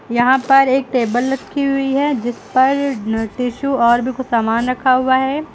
यहां पर एक टेबल रखी हुई है जिस पर टिशु और भी कुछ सामान रखा हुआ है।